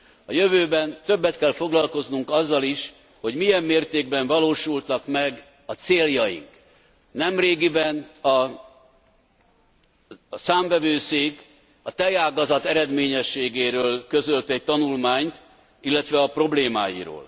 A jövőben többet kell foglalkoznunk azzal is, hogy milyen mértékben valósultak meg a céljaink. Nemrégiben a Számvevőszék a tejágazat eredményességéről közölt egy tanulmányt, illetve a problémáiról.